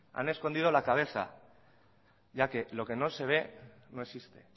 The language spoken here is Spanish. han escondido la cabeza ya que lo que no se ve no existe